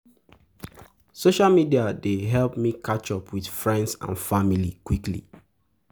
Social media dey um help me catch up with friends and family quickly.